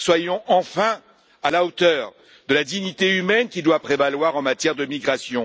Soyons enfin à la hauteur de la dignité humaine qui doit prévaloir en matière de migration.